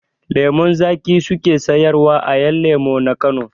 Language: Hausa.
Lemun zaƙi su ke sayarwa a 'yan lemu na Kano.